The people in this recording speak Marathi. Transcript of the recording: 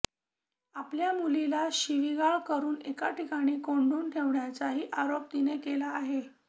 आपल्या मुलीला शिवीगाळ करून एका ठिकाणी कोंडून ठेवल्याचाही आरोप तिने केला आहे